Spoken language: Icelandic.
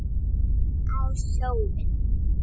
Á sjóinn?